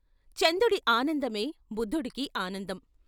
చందుడి ఆనందమే బుద్ధుడికి ఆనందం.